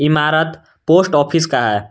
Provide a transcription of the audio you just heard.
इमारत post office का है।